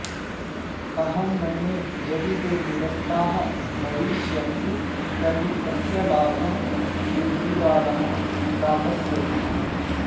अहं मन्ये यदि ते निरस्ताः भविष्यन्ति तर्हि तस्य लाभं केजरीवालः प्राप्स्यति